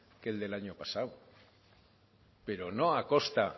que el del año pasado pero no a costa